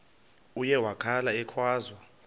uye wakhala ekhwaza